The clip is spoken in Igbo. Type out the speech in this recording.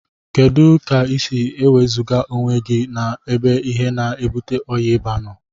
Kedu ka isi ewezuga onwegi na ebe ihe na ebute ọya iba noo?